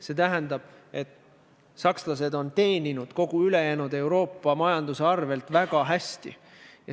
See tähendab, et sakslased on teeninud kogu ülejäänud Euroopa majanduse arvel väga hästi.